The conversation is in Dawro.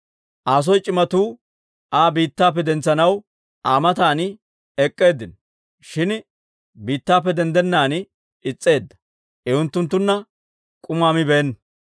Aa soo c'imatuu Aa biittappe dentsanaw Aa matan ek'k'eeddinno; shin biittappe denddennaan is's'eedda; I unttunttunna k'umaa mibeenna.